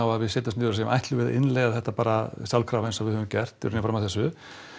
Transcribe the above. að við setjum niður og segjum ætlum við að innleiða þetta bara sjálfkrafa eins og við höfum gert fram að þessu